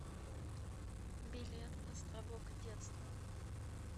билет островок детства